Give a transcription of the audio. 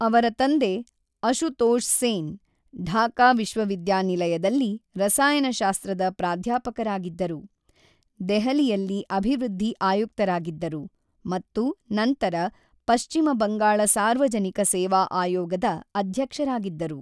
ಅವರ ತಂದೆ ಅಶುತೋಷ್ ಸೇನ್, ಢಾಕಾ ವಿಶ್ವವಿದ್ಯಾನಿಲಯದಲ್ಲಿ ರಸಾಯನಶಾಸ್ತ್ರದ ಪ್ರಾಧ್ಯಾಪಕರಾಗಿದ್ದರು, ದೆಹಲಿಯಲ್ಲಿ ಅಭಿವೃದ್ಧಿ ಆಯುಕ್ತರಾಗಿದ್ದರು ಮತ್ತು ನಂತರ ಪಶ್ಚಿಮ ಬಂಗಾಳ ಸಾರ್ವಜನಿಕ ಸೇವಾ ಆಯೋಗದ ಅಧ್ಯಕ್ಷರಾಗಿದ್ದರು.